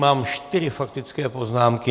Mám čtyři faktické poznámky.